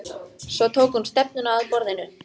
Svo tók hún stefnuna að borðinu.